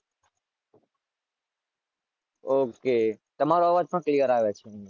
OK તમારો અવાજ પણ Clear આવે છે.